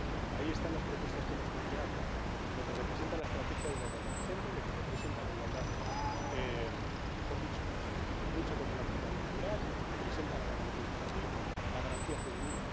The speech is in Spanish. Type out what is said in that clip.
Ahí están las propuestas que hemos planteado en lo que representa la estrategia de la igualdad de género, en lo que representa la igualdad, o mejor dicho, la lucha contra la precariedad laboral, lo que representa la garantía infantil, la garantía juvenil.